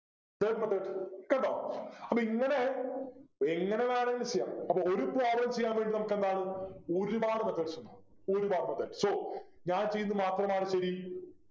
വേറെ എന്തുണ്ട് കണ്ടോ അപ്പൊ ഇങ്ങനെ എങ്ങനെ വേണമെങ്കിലും ചെയ്യാം അപ്പോൾ ഒരു problem ചെയ്യാൻ വേണ്ടി നമുക്ക് എന്താണ് ഒരുപാട് methods ഉണ്ട് ഒരുപാടു methods so ഞാൻ ചെയ്യുന്നത് മാത്രമാണ് ശരി